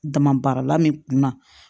Dama baarala min kunna